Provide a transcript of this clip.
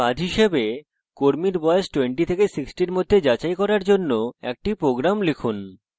কর্মীর বয়স 20 থেকে 60 এর মধ্যে যাচাই করার জন্য একটি প্রোগ্রাম লিখুন